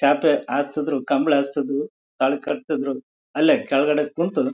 ಚಾಪೆ ಹಾಸಿದ್ರೂ ಕಂಬಳ ಹಾಸಿದ್ರೂ ತಾಳಿ ಕಟ್ಟಿದ್ರೂ ಅಲ್ಲೇ ಕೆಳಗಡೆ ಕೂತು --